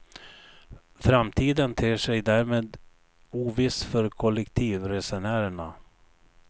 Framtiden ter sig därmed oviss för kollektivresenärerna.